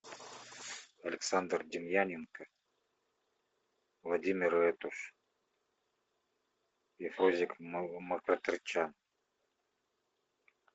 александр демьяненко владимир этуш и фрунзик мкртчян